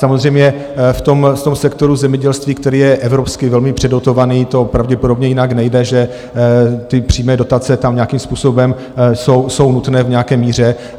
Samozřejmě v tom sektoru zemědělství, který je evropsky velmi předotovaný, to pravděpodobně jinak nejde, že ty přímé dotace tam nějakým způsobem jsou nutné v nějaké míře.